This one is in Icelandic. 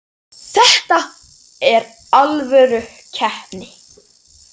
Þetta er alvöru keppni.